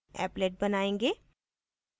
applet बनायेंगे